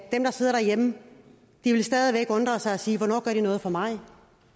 dem der sidder derhjemme vil stadig væk undre sig og sige hvornår gør de noget for mig